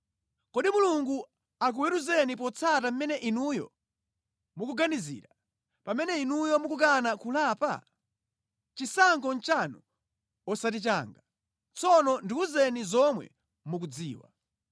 Kodi Mulungu akuweruzeni potsata mmene inuyo mukuganizira, pamene inu mukukana kulapa? Chisankho nʼchanu, osati changa; tsono ndiwuzeni zomwe mukudziwa.